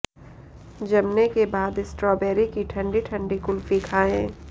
जमने के बाद स्ट्रॉबेरी की ठंडी ठंडी कुल्फी खाएं